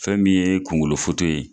Fɛn min ye kungolo ye.